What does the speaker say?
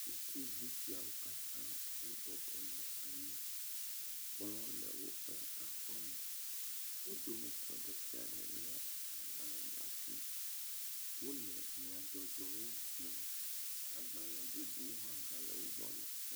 Ɖevi aɖewoe nye esia, wonye sukuviwo wole nuixlẽxɔ me eye wo katã wole nyadzɔdzɔgbalẽwo xlẽm.